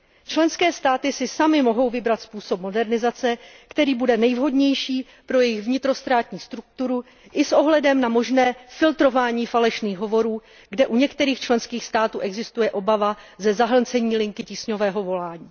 Členské státy si samy mohou vybrat způsob modernizace, který bude nejvhodnější pro jejich vnitrostátní strukturu i s ohledem na možné filtrování falešných hovorů, kde u některých členských států existuje obava ze zahlcení linky tísňového volání.